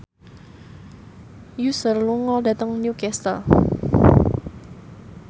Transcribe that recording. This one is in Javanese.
Usher lunga dhateng Newcastle